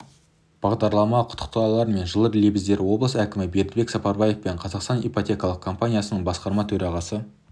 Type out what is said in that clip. бағдарлама құттықтаулар мен жылы лебіздер облыс әкімі бердібек сапарбаев пен қазақстан ипотекалық компаниясының басқарма төрағасы